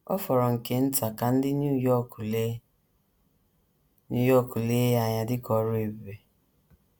Ọ fọrọ nke nta ka ndị New York lee New York lee ya anya dị ka ọrụ ebube.